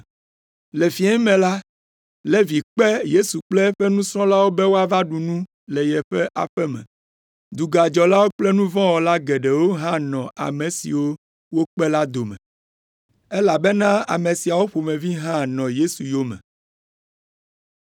Le fiẽ me la, Levi kpe Yesu kple eƒe nusrɔ̃lawo be woava ɖu nu le yeƒe aƒe me. Dugadzɔlawo kple nu vɔ̃ wɔla geɖewo hã nɔ ame siwo wòkpe la dome, elabena ame siawo ƒomevi hã nɔ Yesu yome.